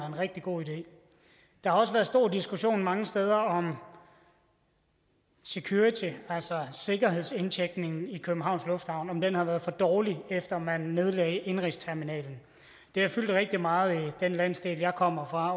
en rigtig god idé der har også været stor diskussion mange steder om security altså sikkerhedsindtjekningen i københavns lufthavn om den har været for dårlig efter at man nedlagde indenrigsterminalen det har fyldt rigtig meget i den landsdel jeg kommer fra